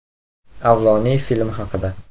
“Avloniy” filmi haqida.